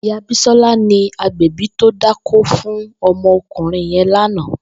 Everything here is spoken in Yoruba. Ìyá Bisola ni ágbẹ̀bì tó dákó fún ọmọ ọkunrin yèn làná